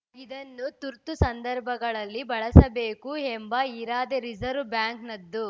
ಇದನ್ನು ತುರ್ತು ಸಂದರ್ಭಗಳಲ್ಲಿ ಬಳಸಬೇಕು ಎಂಬ ಇರಾದೆ ರಿಸರ್ವ್ ಬ್ಯಾಂಕ್‌ನದ್ದು